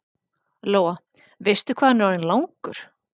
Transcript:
Lóa: Veistu hvað hann er orðinn langur?